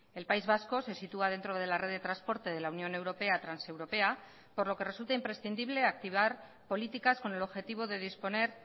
el país vasco se sitúa dentro de la red de transporte de la unión europea transeuropea por lo que resulta imprescindible activar políticas con el objetivo de disponer